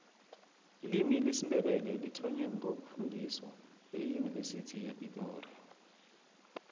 ilimi lesindebele lithonwe ngo ukufundiswa eyuniversity yepitori